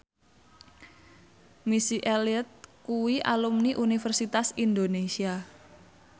Missy Elliott kuwi alumni Universitas Indonesia